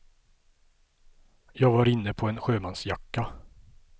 Jag var inne på en sjömansjacka.